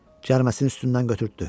Cəriməsini üstündən götürtdü.